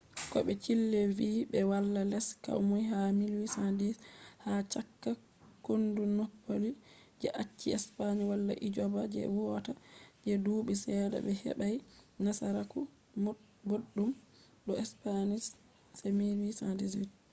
ko be chile vi be wala les komoi ha 1810 ha chaka kondu napoli je acci spain wala gwamnati je huwata je duubi sedda be hebai nasaraku boddum do spanish se 1818